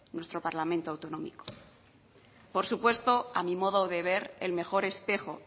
nuestro parlamento autonómico por supuesto a mi modo de ver el mejor espejo